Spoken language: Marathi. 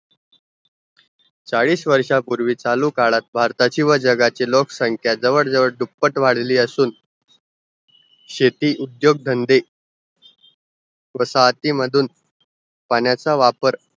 चाळीस वर्षांपूर्वी चालू काळात भारताची व जगाची लोकसंख्या जवळ जवळ दुपट्ट वाढली असू शेती, उद्योग धंदे पाण्या चा वापर